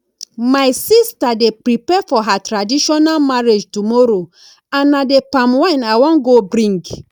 my sister dey prepare for her traditional marriage tomorrow and na the palm wine i wan go bring